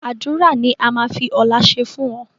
Àdúrà ni a máa fi ọ̀la ṣe fún ọ